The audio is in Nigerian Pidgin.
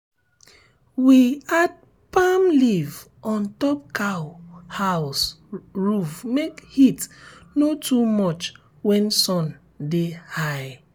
we add palm leaf on top cow house roof make heat no too much when sun dey high.